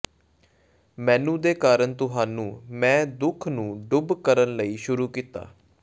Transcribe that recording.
ਮੈਨੂੰ ਦੇ ਕਾਰਨ ਤੁਹਾਨੂੰ ਮੈਅ ਦੁੱਖ ਨੂੰ ਡੁੱਬ ਕਰਨ ਲਈ ਸ਼ੁਰੂ ਕੀਤਾ